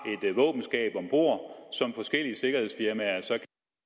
et våbenskab ombord som forskellige sikkerhedsfirmaer så